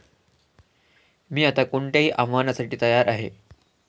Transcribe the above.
मी आता कोणत्याही आव्हानासाठी तयार आहे.